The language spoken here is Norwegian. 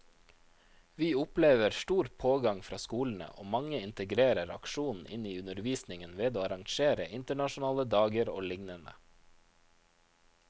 Vi opplever stor pågang fra skolene, og mange integrerer aksjonen inn i undervisningen ved å arrangere internasjonale dager og lignende.